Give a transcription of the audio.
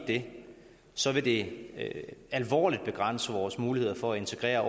det så vil det alvorligt begrænse vores muligheder for at integrere